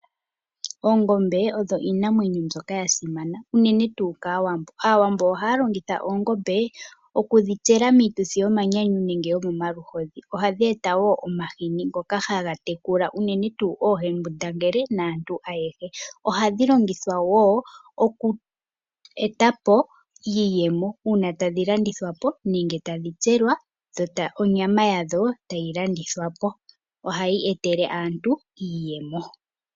Oongombe odhi iinamwenyo mbyoka yasimana, unene tuu kAawambo. Aawambo ohaya longithwa oongombe okudhitsela miituthi yomanyanyu nenge omaluhodhi. Ohayi eta omahini ngoka haga tekula unene tuu oohembundangele naantu aehe. Ohadhi longithwa wo okweetapo iiyemo uuna tadhi landithwapo nenge tadhi tselwa tayi landithwa po dho onyama yadho tadhi landithwapo, ohadhi etele aantu iiyemo.